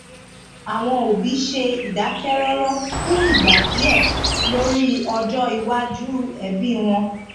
àwọn òbí ṣe ìdákẹrọrọ fún ìgbà díẹ lórí ọjọ iwájú ẹbí wọn